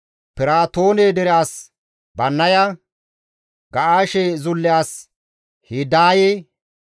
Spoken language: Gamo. Piraatoone dere as Bannaya, Ga7aashe zulle as Hidaaye,